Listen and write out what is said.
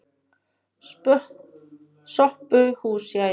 SOPHUS: Jæja!